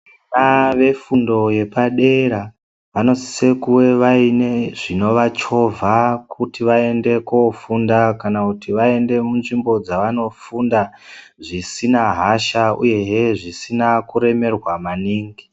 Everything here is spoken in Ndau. Vana vefundo yepadera vanosise kuve vaine zvinovachovha kuti vaende kofunda kana kuti vaende munzvimbo dzavanofunda zvisina hasha uyezve zvisina kuremerwa maningi.